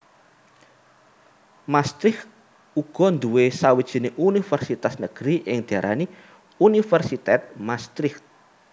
Maastricht uga nduwé sawijining univèrsitas negeri sing diarani Universiteit Maastricht